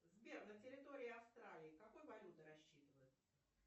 сбер на территории австралии какой валютой рассчитываться